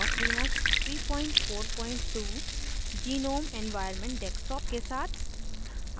boss linux 342 GNOME gnome environment desktop के साथ